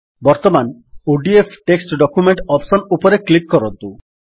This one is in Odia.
ବର୍ତ୍ତମାନ ଓଡିଏଫ୍ ଟେକ୍ସଟ୍ ଡକ୍ୟୁମେଣ୍ଟ୍ ଅପ୍ସନ୍ ରେ କ୍ଲିକ୍ କରନ୍ତୁ